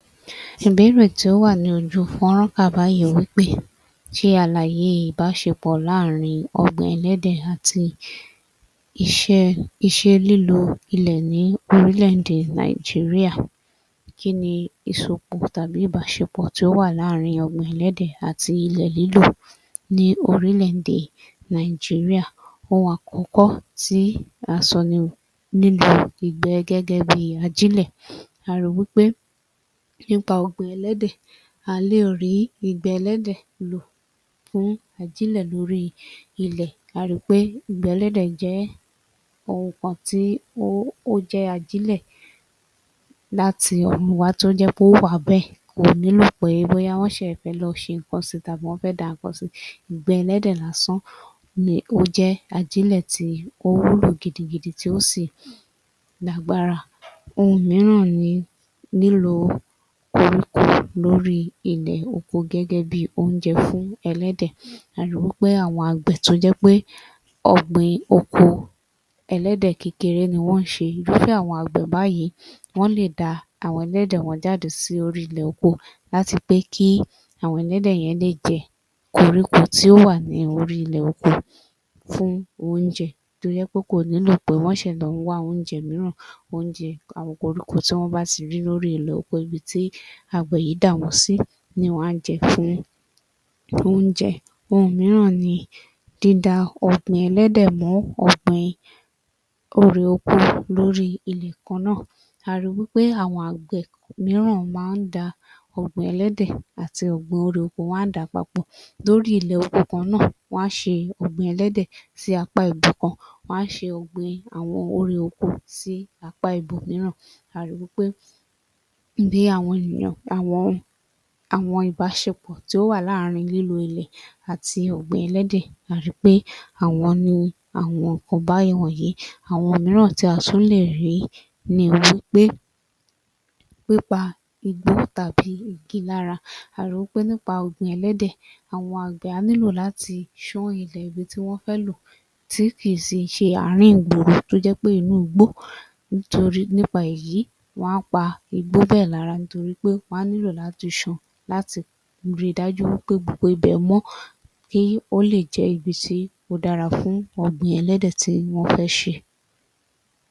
Ìbéèrè tí ó wà ní ojú fọ́nrán kà báyìí wí pé ṣe àlàyé ìbáṣepọ̀ láàrin ọ̀gbìn ẹlẹ́dẹ̀ àti [iṣẹ́…] ìṣe lílo ilẹ̀ ní orílẹ̀-èdè Nàìjíríà. Kí ni ìsopọ̀ tàbí ìbáṣepọ̀ tí ó wà láàrin ọ̀gbìn ẹlẹ́dẹ̀ àti ilẹ̀ lílò ní orílẹ̀-èdè Nàìjíríà? Ohun àkọ́kọ́ tí a sọ ni lílo ìgbẹ́ gẹ́gẹ́ bí ajílẹ̀. A ri wí pé nípa ọ̀gbìn ẹlẹ́dẹ̀, à á lè rí ìgbẹ́ ẹlẹ́dẹ̀ lò fún ajílẹ̀ lórí ilẹ̀. A ri pé ìgbẹ́ ẹlẹ́dẹ̀ jẹ́ ohun kan tí [ó…] ó jẹ́ ajílẹ̀ láti ọ̀run wá tó jẹ́ pé ó wà bẹ́ẹ̀. Kò nílò pé bóyá wọ́n ṣẹ̀ fẹ́ lọ fi nǹkan si tàbí wọ́n fẹ́ da nǹkan si. Ìgbẹ́ ẹlẹ́dẹ̀ lásán ni ó jẹ́ ajílẹ̀ tí ó wúlò gidigidi tí ó sì lágbára. Ohun mìíràn ni lílo koríko lórí ilẹ̀ oko gẹ́gẹ́ bi oúnjẹ fún ẹlẹ́dẹ̀. A ri wí pé àwọn àgbẹ̀ tó jẹ́ pé ọ̀gbìn oko ẹlẹ́dẹ̀ kékeré ni wọ́n ń ṣe, irúfẹ́ àwọn àgbẹ̀ báyìí wọ́n lè da àwọn ẹlẹ́dẹ̀ wọn jáde sí orí ilẹ̀ oko láti pé kí àwọn ẹlẹ́dẹ̀ yẹn lè jẹ koríko tí ó wà ní orí ilẹ̀ oko fún oúnjẹ, tó jẹ́ pé kò nílò pé wọ́n ṣẹ̀ lọ ń wá oúnjẹ mìíràn. Oúnjẹ àwọn koríko tí wọ́n bá ti rí ní orí ilẹ̀ oko ibi tí àgbẹ̀ yìí dà wọ́n sí ni wọn á jẹ fún oúnjẹ. Ohun mìíràn ni dída ọ̀gbìn ẹlẹ́dẹ̀ mọ́ ọ̀gbìn erè oko lórí ilẹ̀ kan náà. A ri wí pé àwọn àgbẹ̀ mìíràn máa ń da ọ̀gbìn ẹlẹ́dẹ̀ àti ọ̀gbìn erè oko, wọn á dà á papọ̀. Lórí ilẹ̀ oko kan náà, wọ́n á ṣe ọ̀gbìn ẹlẹ́dẹ̀ sí apá ibìkan, wọ́n á ṣe ọ̀gbìn àwọn erè oko sí apá ibòmìíràn. A ri wí pé bí àwọn ènìyàn, àwọn, àwọn ìbáṣepọ̀ tí ó wà láàrin lílo ilẹ̀ àti ọ̀gbìn ẹlẹ́dẹ̀ a ri pé àwọn ni àwọn nǹkan bá wọ̀nyí. Àwọn mìíràn tí a tún lè rí ni wí pé, pípa igbó tàbí igi lára. A ri wí pé nípa ọ̀gbìn ẹlẹ́dẹ̀, àwọn àgbẹ̀ á nílò láti ṣán ilẹ̀ ibi tí wọ́n fẹ́ lò tí kì í sì ṣe àárín ìgboro tó jẹ́ pé inú igbó ńtorí nípa èyí wọn á pa igbó bẹ́ẹ̀ lára nítorí pé wọ́n á nílò láti san, láti ri dájú pé ibẹ̀ mọ́ kí ó lè jẹ ibi tí ó dára fún ọ̀gbìn ẹlẹ́dẹ̀ tí wọ́n fẹ́ ṣe.